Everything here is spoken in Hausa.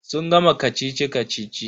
Sun gama kacici-kacici.